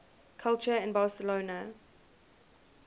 culture in barcelona